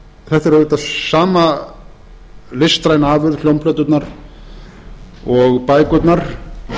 þetta er auðvitað sama listræna afurð hljómplöturnar og bækurnar